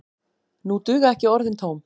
Nú duga ekki orðin tóm.